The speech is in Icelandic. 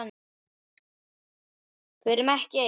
Við erum ekki ein.